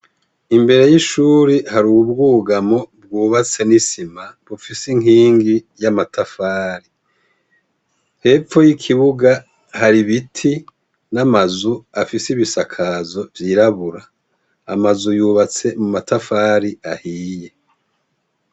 Imbere y’ishure hari ubwugamo bwubatse n’isima bufise inkingi y’amatafari. Hepfo y’ikibuga hari ibiti n’amazu afise ibisakazo vy’irabura. Amazu yubatse mu matafari ahiye.